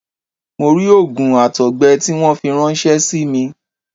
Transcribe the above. Mo rí òògùn àtọ̀gbẹ tí wọ́n fi ráńṣẹ́ símí